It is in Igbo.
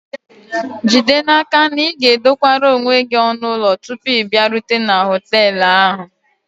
Jide n'aka na ị ga-edokwara onwe gị ọnụ ụlọ tupu ị bịarute na họtel ahụ